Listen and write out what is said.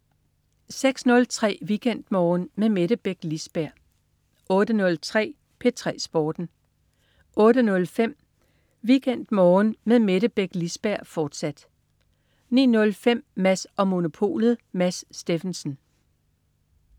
06.03 WeekendMorgen med Mette Beck Lisberg 08.03 P3 Sporten 08.05 WeekendMorgen med Mette Beck Lisberg, fortsat 09.05 Mads & Monopolet. Mads Steffensen